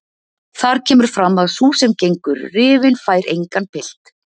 Þar kemur fram að sú sem gengur rifin fær engan pilt.